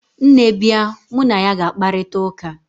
nne bia, mu na ya ga-akparita uka